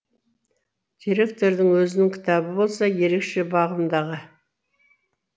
директордың өзінің кітабы болса ерекше бағымдағы